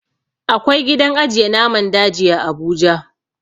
Akwai gidan ajiye naman daji a abuja